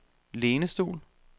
lænestol